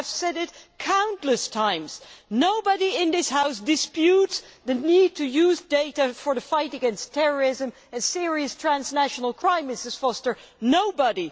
I have said this countless times nobody in this House disputes the need to use data in the fight against terrorism and serious transnational crime, Mrs Foster nobody.